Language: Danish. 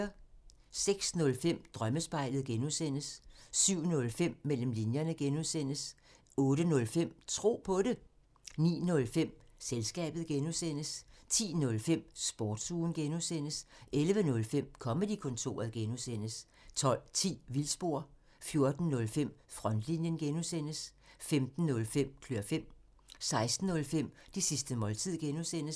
06:05: Drømmespejlet (G) 07:05: Mellem linjerne (G) 08:05: Tro på det 09:05: Selskabet (G) 10:05: Sportsugen (G) 11:05: Comedy-kontoret (G) 12:10: Vildspor 14:05: Frontlinjen (G) 15:05: Klør fem 16:05: Det sidste måltid (G)